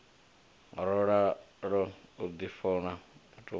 no ralo u difhoma matope